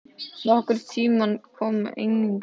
Nokkur tímarit koma einnig út.